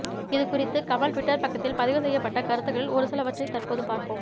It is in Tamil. இதுகுறித்து கமல் டுவிட்டர் பக்கத்தில் பதிவு செய்யப்பட்ட கருத்துக்களில் ஒருசிலவற்றை தற்போது பார்ப்போம்